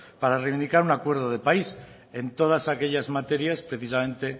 para reivindicar un acuerdo de país en todas aquellas materias precisamente